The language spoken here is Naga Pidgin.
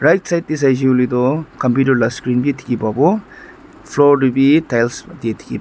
left side teh sai se koiley toh computer lah screen bi dikhi pabo floor teh be tiles matti dikhi--